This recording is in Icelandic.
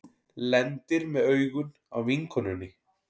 Lendir með augun á vinkonunni.